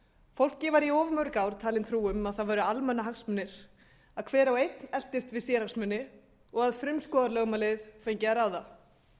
fólki var í of mörg ár talin trú um að það væru almannahagsmunir að hver og einn eltist við sérhagsmuni og að frumskógarlögmálið fengi að ráða